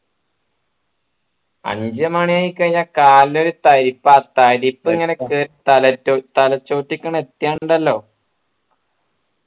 അഞ്ചു മണി ആയി കയിനാൽ കാലിനൊരു ഒരു തരിപ്പ തരിപ്പ് ഇങ്ങനെ കേറി തലച്ചോട്ടിക്ക് ഇങ് എത്തിയാണ്ടല്ലോ